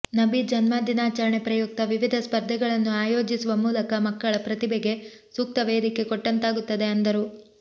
ನಬಿ ಜನ್ಮದಿನಾಚರಣೆ ಪ್ರಯುಕ್ತ ವಿವಿಧ ಸ್ಪರ್ಧೆಗಳನ್ನು ಆಯೋಜಿಸುವ ಮೂಲಕ ಮಕ್ಕಳ ಪ್ರತಿಭೆಗೆ ಸೂಕ್ತ ವೇದಿಕೆ ಕೊಟ್ಟಂತಾಗುತ್ತದೆ ಅಂದರು